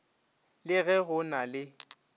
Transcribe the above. le ge go na le